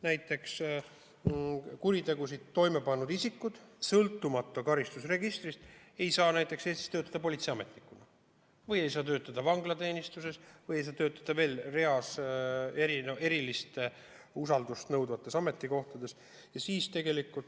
Näiteks kuritegusid toime pannud isikud ei saa sõltumata karistusregistrist töötada Eestis politseiametnikuna, vanglateenistuses ja veel reas erilist usaldust nõudvatel ametikohtadel.